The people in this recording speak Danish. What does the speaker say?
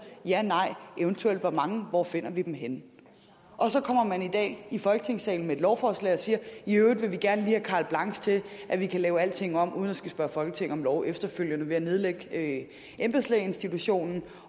janej eventuelt hvor mange og hvor vi finder dem henne og så kommer man i dag i folketingssalen med et lovforslag og siger i øvrigt vil vi gerne lige have carte blanche til at vi kan lave alting om uden at skulle spørge folketinget om lov efterfølgende ved at nedlægge embedslægeinstitutionen